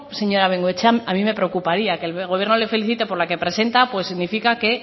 señora bengoechea a mí me preocuparía que el gobierno le felicite por la que presenta pues significa que